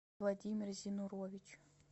владимир зинурович